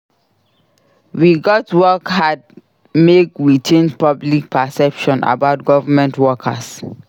We gats work hard make we change public perception about government workers.